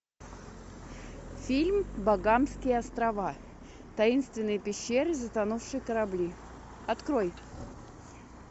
фильм багамские острова таинственные пещеры затонувшие корабли открой